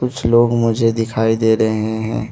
कुछ लोग मुझे दिखाई दे रहे हैं।